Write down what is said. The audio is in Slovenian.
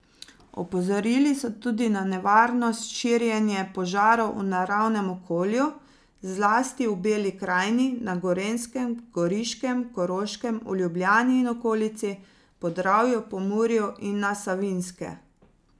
Opozorili so tudi na nevarnost širjenje požarov v naravnem okolju, zlasti v Beli krajini, na Gorenjskem, Goriškem, Koroškem, v Ljubljani in okolici, Podravju, Pomurju in na Savinjske.